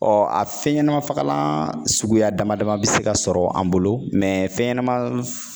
Ɔ a fɛnɲɛnamafagalan suguya damadama bɛ se ka sɔrɔ an bolo fɛnɲɛnama